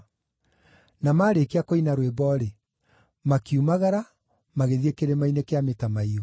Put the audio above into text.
Na maarĩkia kũina rwĩmbo-rĩ, makiumagara magĩthiĩ Kĩrĩma-inĩ kĩa Mĩtamaiyũ.